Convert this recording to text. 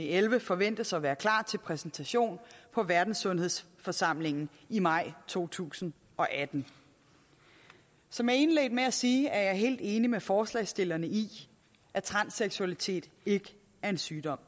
elleve forventes at være klar til præsentation på verdenssundhedsforsamlingen i maj to tusind og atten som jeg indledte med at sige er jeg helt enig med forslagsstillerne i at transseksualitet ikke er en sygdom